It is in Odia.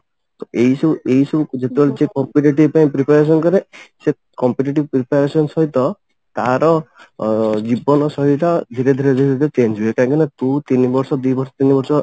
ତ ଏଇ ସବୁ ଏଇ ସବୁ ଯେତେବେଳେ ଯେ competitive ପାଇଁ preparation କରେ ସେ competitive preparation ସହିତ ତାର ଅ ଜୀବନ ଶୈଳୀ ଟା ଧୀରେ ଧୀରେ ଧୀରେ ଧୀରେ change ହୁଏ କାହିଙ୍କି ନା ତୁ ତିନି ବର୍ଷ ଦି ବର୍ଷ ତିନି ବର୍ଷ